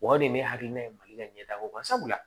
O de ye ne hakilina ye mali ka ɲɛ taa ko kan sabula